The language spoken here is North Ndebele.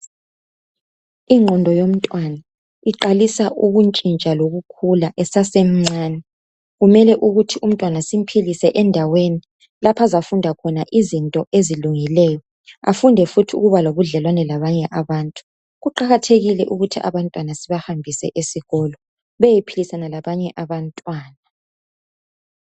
Ingqondo yomntwana iqalisa ukuntshintsha lokukhula esasemncani. Kumele ukuthi umntwana simphilise endaweni laphazafunda khona izinto ezilungileyo afunde futhi ukuba lobudlelwano labanye abantu . Kuqakathekile ukuthi abantwana sibahambise esikolo beyephilisana labanye abantwana.